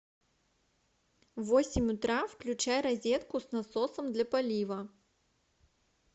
в восемь утра включай розетку с насосом для полива